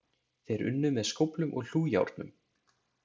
Þeir unnu með skóflum og hlújárnum.